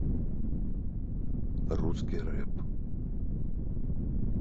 русский рэп